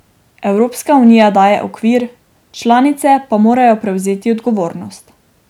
Evropska unija daje okvir, članice pa morajo prevzeti odgovornost.